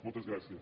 moltes gràcies